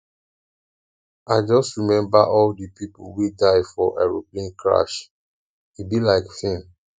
i just remember all the people wey die for aeroplane crash e be like film